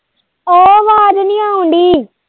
ਓ ਆਵਾਜ਼ ਨੀ ਆਉਣ ਦਈ।